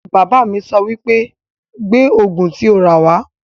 Bàbá mi sọ wípé 'Gbé Ògùn tí o rà wá'